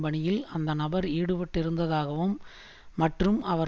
பணியில் அந்த நபர் ஈடுபட்டிருந்ததாகவும் மற்றும் அவர்